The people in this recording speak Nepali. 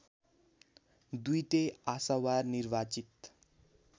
दुईटै आशावार निर्वाचित